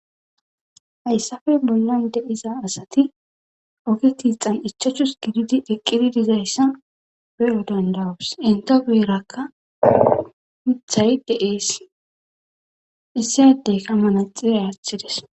hayssafe bollan de'iza asati oge tiixan ichachus gididi eqqidi dizayssa be7o dandawus intebeerakka mithay de7ees issi aydeyka manaxire aathides.